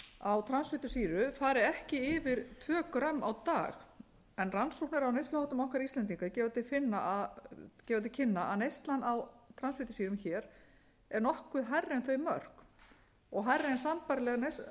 á transfitusýru fari ekki tvö g á dag en rannsóknir á neysluháttum íslendinga gefa til kynna að neyslan á transfitusýrum hér er nokkuð hærri en þau mörk og hærri en